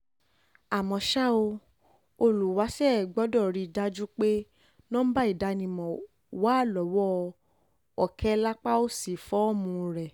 àmọ́ ṣá ò olùwáṣẹ̀ gbọ́dọ̀ rí i dájú pé nọ́ńbà ìdánimọ̀ wà lọ́wọ́ òkè lápá òsì fọ́ọ̀mù rẹ̀